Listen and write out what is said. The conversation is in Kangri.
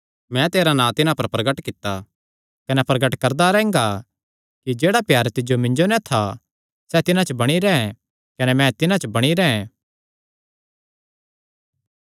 मैं तेरा नां तिन्हां पर प्रगट कित्ता कने प्रगट करदा रैंह्गा कि जेह्ड़ा प्यार तिज्जो मिन्जो नैं था सैह़ तिन्हां च बणी रैंह् कने मैं तिन्हां च बणी रैंह्